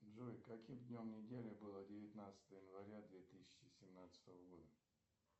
джой каким днем недели было девятнадцатое января две тысячи семнадцатого года